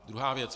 Druhá věc.